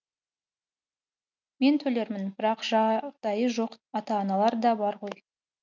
мен төлермін бірақ жағдайы жоқ ата аналар да бар ғой